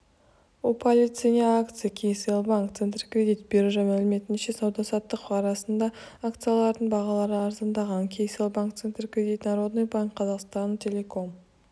упали цене акции кселл банк центркредит биржа мәліметінше сауда-саттық барысында акцияларының бағалары арзандағандар кселл банк центркредит народный банк казахстана казахтелеком